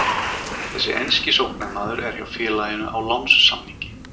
Þessi enski sóknarmaður er hjá félaginu á lánssamningi.